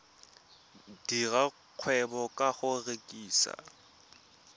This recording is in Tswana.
dira kgwebo ka go rekisa